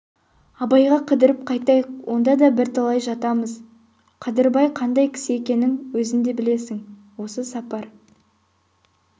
абайға қыдырып қайтайық онда да бірталай жатамыз қадырбай қандай кісі екенін өзің де білесің осы сапар